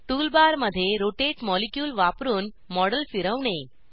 tool बारमध्ये rotate molecule वापरुन model फिरवणे